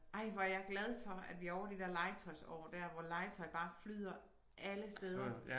Ej hvor er jeg glad for at vi ovre de der legetøjsår dér hvor legetøj bare flyder alle steder